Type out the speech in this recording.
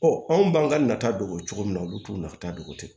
anw b'an ka nata dogo cogo min na olu t'u nafa dogo tɛ